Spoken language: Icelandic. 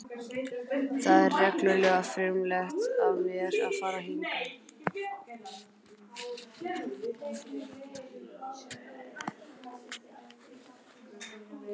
Það var reglulega frumlegt af mér að fara hingað.